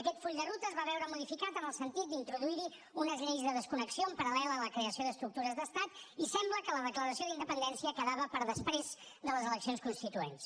aquest full de ruta es va veure modificat en el sentit d’introduir hi unes lleis de desconnexió en paral·lel a la creació d’estructures d’estat i sembla que la declaració d’independència quedava per després de les eleccions constituents